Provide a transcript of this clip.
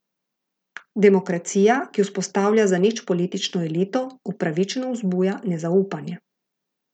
Demokracija, ki vzpostavlja zanič politično elito, upravičeno vzbuja nezaupanje.